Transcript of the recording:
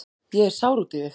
Ég er sár út í þig.